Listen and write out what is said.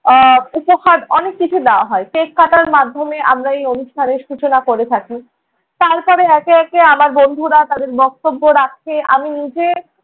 আহ উপহার অনেক কিছু দেয়া হয়। cake কাটার মাধ্যমে আমরা এই অনুষ্ঠানের সূচনা করে থাকি। তারপরে একে একে আমার বন্ধুরা তাদের বক্তব্য রাখে। আমি নিজে-